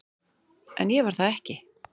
En ég var það ekki.